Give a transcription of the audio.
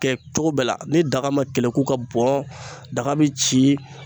Kɛ cogo bɛɛ la ni daga ma keleku ka bɔn daga bi ci